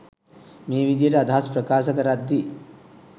මේ විදියට අදහස් ප්‍රකාශ කරද්දී